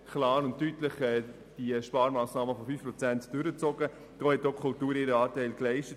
Der Erziehungsdirektor hat die Sparmassnahmen in der Höhe von 5 Prozent in sämtlichen Abteilungen der ERZ klar und deutlich durchgesetzt.